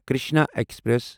Krishna express